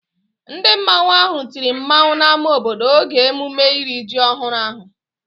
Ndị mmanwu ahụ tiri mmanwu n'ámá obodo oge emume iri ji ọhụrụ ahụ